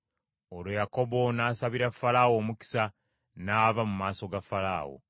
Olwo Yakobo n’asabira Falaawo omukisa n’ava mu maaso ga Falaawo.